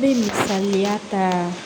Ne bɛ misaliya ta